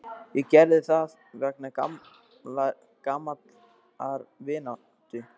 Ég gerði það vegna gamallar vináttu.